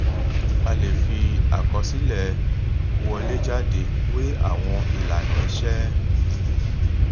a lè fi àkọsílẹ wọlé jáde wé àwọn ìlànà iṣé